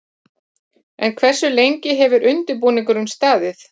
En hversu lengi hefur undirbúningurinn staðið?